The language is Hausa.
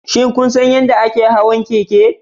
Shin kun san yadda ake hawan keke?